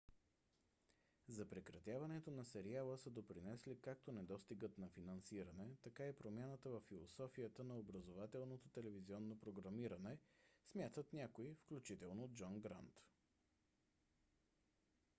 за прекратяването на сериала са допринесли както недостигът на финансиране така и промяната във философията на образователното телевизионно програмиране смятат някои включително джон грант